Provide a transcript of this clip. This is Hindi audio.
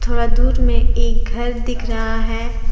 थोड़ा दूर में एक घर दिख रहा है।